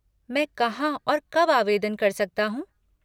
मैं कहाँ और कब आवेदन कर सकता हूँ?